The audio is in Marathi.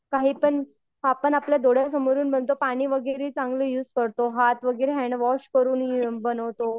काहीपण आपण आपल्या डोळ्यासमोरून म्हणतो पाणी वगैरे चांगलं युज करतो, हाथ वगैरे हँडवॉश करून बनवतो.